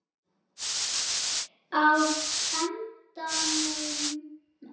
Á endanum var